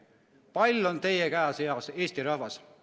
Pall on teie käes, hea Eesti rahvas!